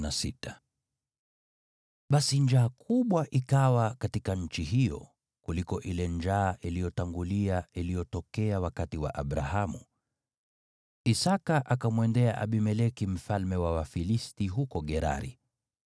Basi njaa kubwa ikawa katika nchi hiyo, kuliko ile njaa iliyotangulia iliyotokea wakati wa Abrahamu. Isaki akamwendea Abimeleki mfalme wa Wafilisti huko Gerari.